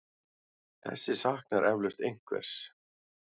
Þessi saknar eflaust einhvers.